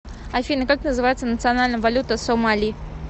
афина как называется национальная валюта сомали